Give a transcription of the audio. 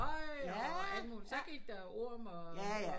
Og altså muligt så gik der jo orm